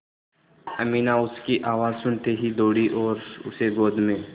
अमीना उसकी आवाज़ सुनते ही दौड़ी और उसे गोद में